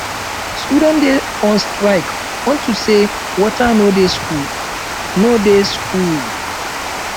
students dey on strike unto say water no dey school no dey school